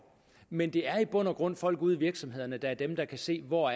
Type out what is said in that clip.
men det er i bund og grund folk ude i virksomhederne der er dem der kan se hvor